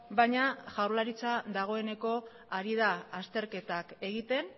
baina jaurlaritza dagoeneko ari da azterketak egiten